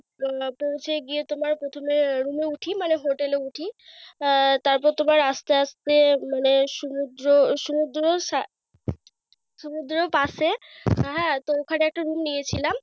হ্যাঁ তো হচ্ছে গিয়ে তোমার প্রথমে room এ উঠি মানে hotel এ উঠি। আহ তারপর তোমার আস্তে আস্তে মানে সমুদ্র সমুদ্রর সা সমুদ্রর পাসে হ্যাঁ তো ওখানে একটা নিয়েছিলাম।